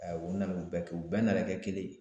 Aa u nana u bɛɛ kɛ u bɛɛ nana kɛ kelen